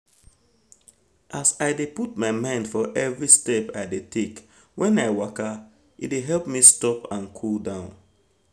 as i dey put mind for every step i dey take when i waka e dey help me stop and cool down